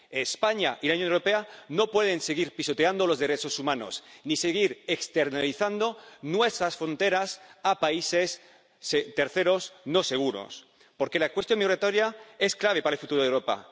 España y la Unión Europea no pueden seguir pisoteando los derechos humanos ni seguir externalizando nuestras fronteras a países terceros no seguros. Porque la cuestión migratoria es clave para el futuro de Europa.